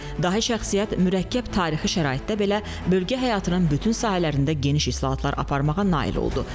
Dahi şəxsiyyət mürəkkəb tarixi şəraitdə belə bölgə həyatının bütün sahələrində geniş islahatlar aparmağa nail oldu.